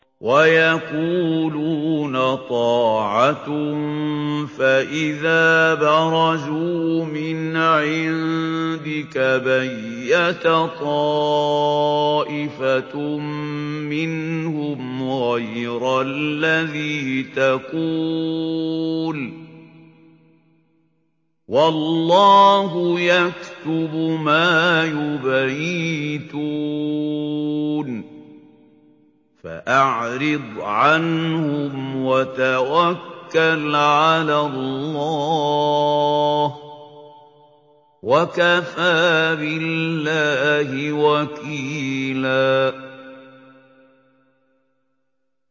وَيَقُولُونَ طَاعَةٌ فَإِذَا بَرَزُوا مِنْ عِندِكَ بَيَّتَ طَائِفَةٌ مِّنْهُمْ غَيْرَ الَّذِي تَقُولُ ۖ وَاللَّهُ يَكْتُبُ مَا يُبَيِّتُونَ ۖ فَأَعْرِضْ عَنْهُمْ وَتَوَكَّلْ عَلَى اللَّهِ ۚ وَكَفَىٰ بِاللَّهِ وَكِيلًا